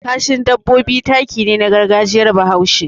Kashin dabbobi taki ne na gargajiyar Bahaushe.